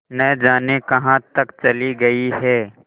न जाने कहाँ तक चली गई हैं